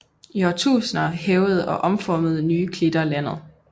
I årtusinder hævede og omformede nye klitter landet